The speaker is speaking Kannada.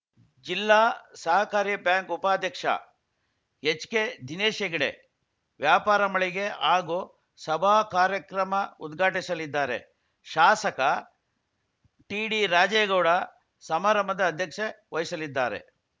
ಜಿಲ್ಲಾ ಸಹಕಾರಿ ಬ್ಯಾಂಕ್‌ ಉಪಾಧ್ಯಕ್ಷ ಎಚ್‌ಕೆದಿನೇಶ್‌ ಹೆಗಡೆ ವ್ಯಾಪಾರಮಳಿಗೆ ಹಾಗೂ ಸಭಾ ಕಾರ್ಯಕ್ರಮ ಉದ್ಘಾಟಿಸಲಿದ್ದಾರೆ ಶಾಸಕ ಟಿಡಿರಾಜೇಗೌಡ ಸಮಾರಂಭದ ಅಧ್ಯಕ್ಷ ವಹಿಸಲಿದ್ದಾರೆ